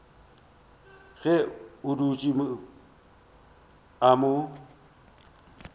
ge a dutše a mo